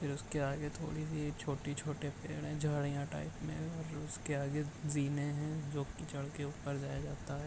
फिर उसके आगे थोड़ी सी छोटी-छोटी पेड़ झाड़ियां टाइप में और उसके आगे जीने है जो कीचड़ के ऊपर जाया जाता है ।